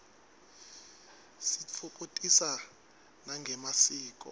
sititfokotisa nangemasiko